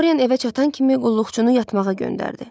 Doryan evə çatan kimi qulluqçunu yatmağa göndərdi.